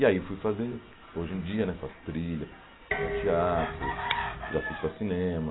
E aí fui fazer, hoje em dia né, faço trilha para teatro, já fiz para cinema,